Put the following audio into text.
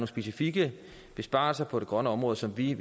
specifikke besparelser på det grønne område som vi